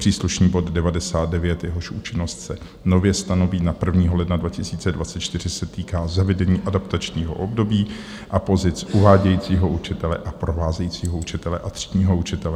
Příslušný bod 99, jehož účinnost se nově stanoví na 1. ledna 2024, se týká zavedení adaptačního období a pozic uvádějícího učitele a provázejícího učitele a třídního učitele.